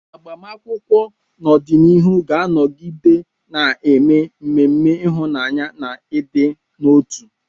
Agbamakwụkwọ n'ọdịnihu ga-anọgide na-eme ememe ịhụnanya na ịdị n'otu.